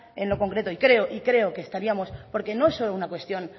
en lo concreto y creo que estaríamos porque no es solo una cuestión